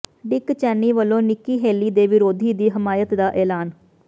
ਡਿੱਕ Cheney ਵੱਲੋਂ Nikki Haley ਦੇ ਵਿਰੋਧੀ ਦੀ ਹਮਾਇਤ ਦਾ ਐਲਾਨ